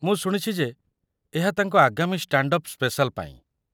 ମୁଁ ଶୁଣିଛି ଯେ ଏହା ତାଙ୍କ ଆଗାମୀ ଷ୍ଟାଣ୍ଡ ଅପ୍ ସ୍ପେସାଲ୍ ପାଇଁ।